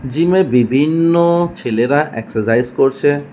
Gym এ বিভিন্ন ছেলেরা এক্সারসাইজ করছে।